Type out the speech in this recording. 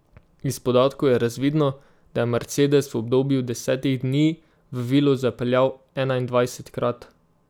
Iz podatkov je razvidno, da je mercedes v obdobju desetih dni v vilo zapeljal enaindvajsetkrat.